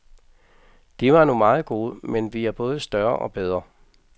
De var nu meget gode, men vi er både større og bedre.